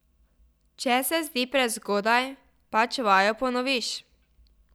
Če se zdi prezgodaj, pač vajo ponoviš.